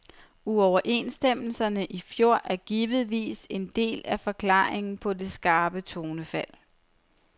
Uoverenstemmelserne i fjor er givetvis en del af forklaringen på det skarpe tonefald.